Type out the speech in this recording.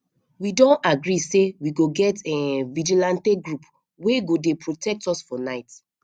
we don agree say we go get um vigilante group wey go dey protect us for night